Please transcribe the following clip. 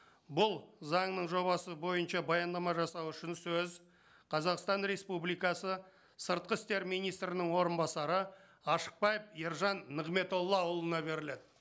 бұл заңның жобасы бойынша баяндама жасау үшін сөз қазақстан республикасы сыртқы істер министрінің орынбасары ашықбаев ержан нығметоллаұлына беріледі